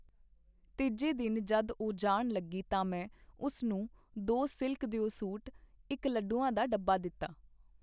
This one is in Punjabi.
ਤੀਜੇ ਦਿਨ ਜਦ ਉਹ ਜਾਣ ਲੱਗੀ ਤਾਂ ਮੈਂ ਉਸ ਨੂੰ ਦੋ ਸਿਲਕ ਦਿਓ ਸੂਟ, ਇੱਕ ਲੱਡੂਆਂ ਦਾ ਡੱਬਾ ਦਿੱਤਾ.